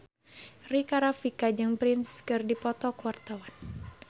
Rika Rafika jeung Prince keur dipoto ku wartawan